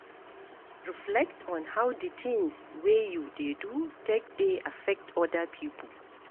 Reflect on how di things wey you dey do take dey affect oda pipo